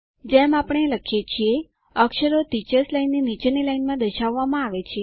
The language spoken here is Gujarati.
જેમ આપણે લખીએ છીએ અક્ષરો ટીચર્સ લાઇન ની નીચેની લાઈનમાં દર્શાવવામાં આવે છે